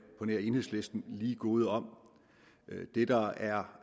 på nær enhedslisten lige gode om det der er